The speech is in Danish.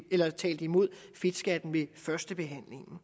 der talte imod fedtskatten ved førstebehandlingen